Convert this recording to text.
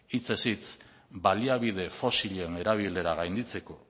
hitzez hitz baliabide fosilen erabilera gainditzeko